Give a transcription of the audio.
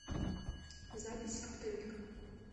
запись оптовик